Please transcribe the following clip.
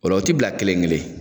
Ola o ti bila kelen kelen